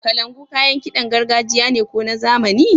Kalangu kayan kiɗan gargajiya ne ko na zamani? --